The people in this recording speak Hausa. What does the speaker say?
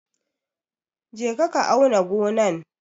Je ka auna gonan!